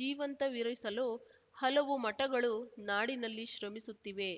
ಜೀವಂತವಿರಿಸಲು ಹಲವು ಮಠಗಳು ನಾಡಿನಲ್ಲಿ ಶ್ರಮಿಸುತ್ತಿವೆ